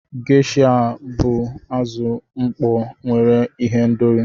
Gesha bụ azụ mkpọ nwere ihendori.